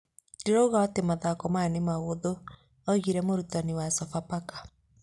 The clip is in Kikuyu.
Ndĩroiga atĩ mathako maya nĩ mahũthũ,' oigire mũrutani wa Sofapaka.